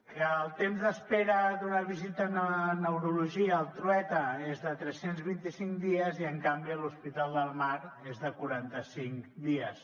que el temps d’espera d’una visita a neurologia al trueta és de tres cents i vint cinc dies i en canvi a l’hospital del mar és de quaranta cinc dies